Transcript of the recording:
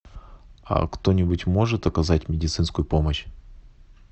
а кто нибудь может оказать медицинскую помощь